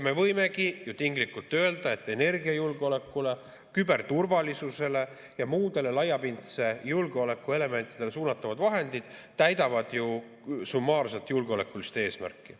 Me võimegi ju tinglikult öelda, et energiajulgeolekule, küberturvalisusele ja muudele laiapindse julgeoleku elementidele suunatavad vahendid täidavad summaarselt julgeolekulist eesmärki.